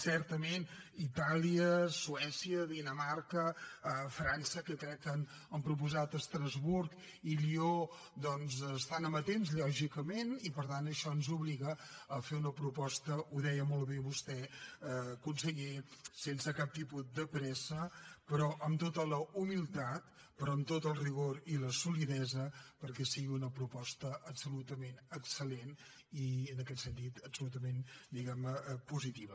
certament itàlia suècia dinamarca frança que crec que han proposat estrasburg i lió doncs estan amatents lògicament i per tant això ens obliga a fer una proposta ho deia molt bé vostè conseller sense cap tipus de pressa però amb tota la humilitat però amb tot el rigor i la solidesa perquè sigui una proposta absolutament excel·lent i en aquest sentit absolutament diguem ne positiva